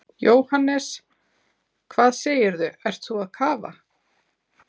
Jóhannes: Hvað segirðu, ert þú að kafa?